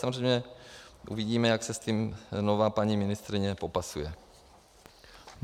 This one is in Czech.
Samozřejmě uvidíme, jak se s tím nová paní ministryně popasuje.